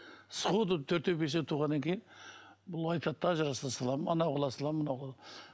сходу төртеу бесеу туғаннан кейін бұл айтады да ажыраса саламын анау қыла саламын мынау